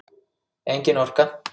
Engin orka.